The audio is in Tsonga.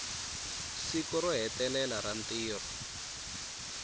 siku ro hetelela ra ntirho